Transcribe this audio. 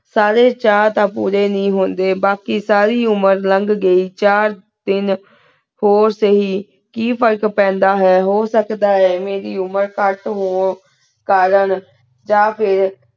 ਸਾਰੀ ਚਟਾਨ ਪੁਰੀ ਨੀ ਹੁੰਦੇ ਬਾਕੀ ਸਾਰੀ ਉਮੇਰ ਨਾਗਹ ਘੀ ਚਾਰ ਦੀਨ ਹੂਰ ਸਹੀ ਕੀ ਫ਼ਰਕ ਪੈਂਦਾ ਆਯ ਹੁਸ੍ਕਦਾ ਆਯ ਕੀ ਏਨਾ ਦੀ ਉਮੇਰ ਘਟ ਹੂ ਕਰੇਂ ਯਾ ਫੇਰ